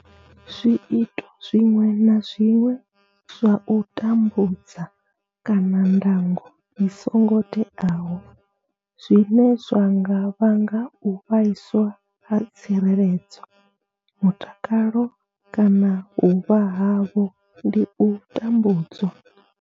Zwiito zwiṅwe na zwiṅwe zwa u tambudza kana ndango i songo teaho zwine zwa nga vhanga u vhaiswa ha tsireledzo, mutakalo kana vhuvha havho ndi u tambudzwa.